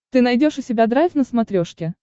ты найдешь у себя драйв на смотрешке